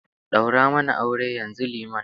Daura mana aure yanzu, liman